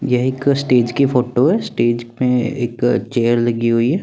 यहाँ एक स्टेज की फोटो है स्टेज पे एक चेयर लगी हुई है।